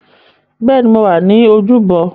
Bẹ́ẹ̀ni, mo wà ní ojúbọ